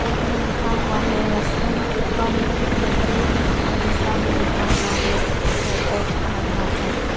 एक में लिखा हुआ है रेस्टोरेंट कम कैफे और दूसरा में लिखा हुआ है इको ऑफ अरुणाचल।